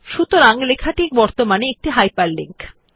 সুতরাং লেখাটি বর্তমানে একটি হাইপারলিংক